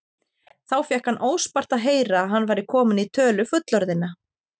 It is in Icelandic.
Þá fékk hann óspart að heyra að hann væri kominn í tölu fullorðinna.